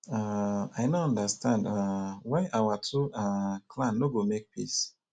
um i no understand um why our two um clan no go make peace